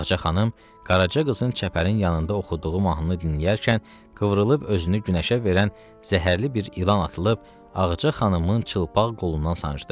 Ağca xanım qaraca qızın çəpərin yanında oxuduğu mahnını dinləyərkən qıvrılıb özünü günəşə verən zəhərli bir ilan atılıb Ağca xanımın çılpaq qolundan sancdı.